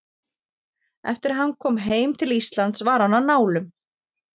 Eftir að hann kom heim til Íslands var hann á nálum.